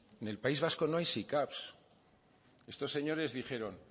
en el país vasco no hay sicav estos señores dijeron